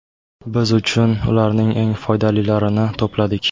Biz siz uchun ularning eng foydalilarini to‘pladik.